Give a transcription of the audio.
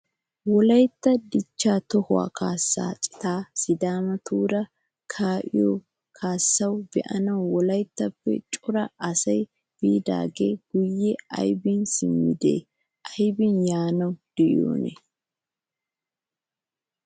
Wolaytta dichchaa tohuwaa kaasaa citay sidaamatuura kaa'iyoo kaassaa be'anaw wolayttappe cora asay biidaagee guyye aybbin simmidi aybbin yaanaw de'iyoonaa ?